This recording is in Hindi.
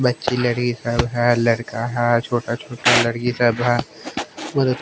बच्ची लड़ी सब है लड़का है छोटा छोटा लड़की सब है।